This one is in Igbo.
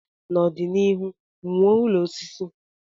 N'ọdịnihu, wuo ụlọ osisi.